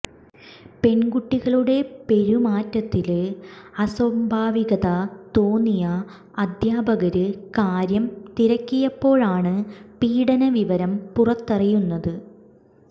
പെണ്കുട്ടികളുടെ പെരുമാറ്റത്തില് അസ്വാഭാവികത തോന്നിയ അധ്യാപകര് കാര്യം തിരക്കിയപ്പോഴാണ് പീഡന വിവരം പുറത്തറിയുന്നത്